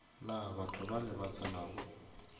na batho bale ba tsenago